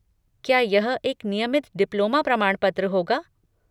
क्या यह एक नियमित डिप्लोमा प्रमाणपत्र होगा?